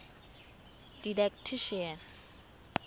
didactician